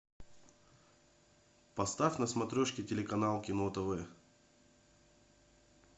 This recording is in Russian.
поставь на смотрешке телеканал кино тв